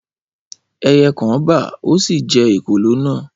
Ẹyẹ kan bà, ó sí jẹ èkòlò náà.